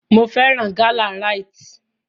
Mo fẹ́ràn gálà Rite.